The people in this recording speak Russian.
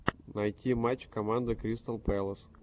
найти матч команды кристал пэлас